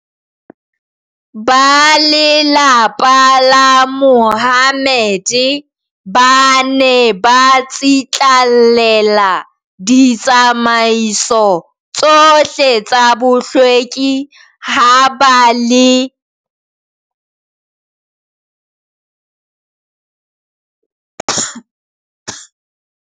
Ba lelapa la Mahommed ba ne ba tsitlallela ditsamaiso tsohle tsa bohlweki ha ba le mosebetsing le lapeng, e le ho qoba ho tshwae-tseha ke kokwa-nahloko ena.